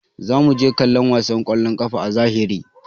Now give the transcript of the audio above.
Zamu je mu kalla wasan kwallon kafa a zahiri.